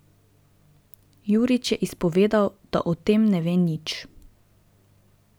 Jurič je izpovedal, da o tem ne ve nič.